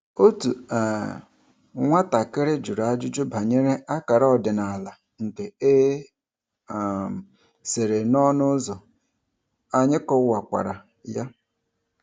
Otu um nwatakịrị jụrụ ajụjụ banyere akara ọdịnala nke e um sere n'ọnụ ụzọ, anyị kọwakwara ya.